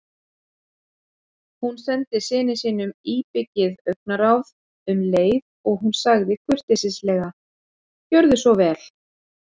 Hún sendi syni sínum íbyggið augnaráð um leið og hún sagði kurteislega: Gjörðu svo vel